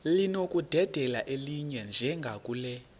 linokudedela elinye njengakule